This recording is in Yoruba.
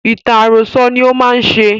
Ìtàn àròkọ ní ó má ń ṣe